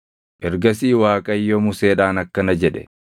Ergasii Waaqayyo Museedhaan akkana jedhe;